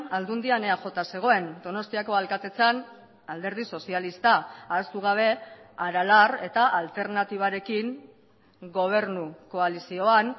aldundian eaj zegoen donostiako alkatetzan alderdi sozialista ahaztu gabe aralar eta alternatibarekin gobernu koalizioan